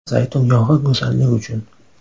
Zaytun yog‘i go‘zallik uchun.